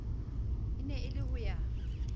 ne e le ho ya